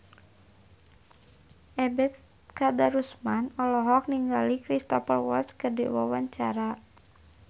Ebet Kadarusman olohok ningali Cristhoper Waltz keur diwawancara